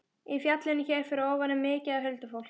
Í fjallinu hér fyrir ofan er mikið af huldufólki